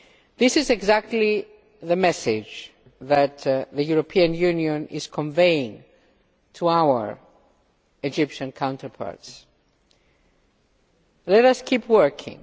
This is exactly the message that the European Union is conveying to our Egyptian counterparts. Let us keep working.